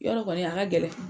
Yarɔ kɔni a ka gɛlɛn